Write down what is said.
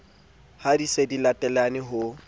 ye di se latelane ho